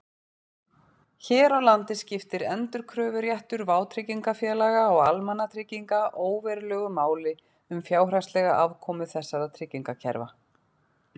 Hér á landi skiptir endurkröfuréttur vátryggingafélaga og almannatrygginga óverulegu máli um fjárhagslega afkomu þessara tryggingakerfa.